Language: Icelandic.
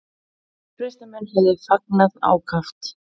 Uppreisnarmenn hefðu fagnað ákaft